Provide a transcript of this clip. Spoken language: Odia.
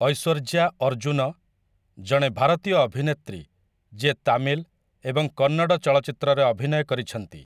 ଐଶ୍ୱର୍ଯ୍ୟା ଅର୍ଜୁନ, ଜଣେ ଭାରତୀୟ ଅଭିନେତ୍ରୀ ଯିଏ ତାମିଲ ଏବଂ କନ୍ନଡ଼ ଚଳଚ୍ଚିତ୍ରରେ ଅଭିନୟ କରିଛନ୍ତି ।